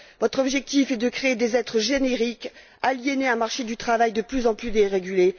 Votre objectif est de créer des êtres génériques aliénés à un marché du travail de plus en plus dérégulé.